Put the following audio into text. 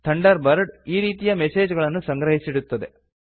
thunder bird ಆ ರೀತಿಯ message ಗಳನ್ನು ಸಂಗ್ರಹಿಸಿಡುತ್ತದೆ